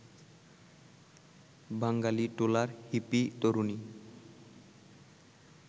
বাঙালিটোলার hippie তরুণী